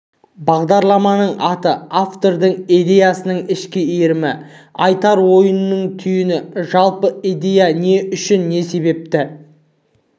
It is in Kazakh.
бағдарламаның аты автордың идеясының ішкі иірімі айтар ойының түйіні жалпы идея неге не үшін не себепті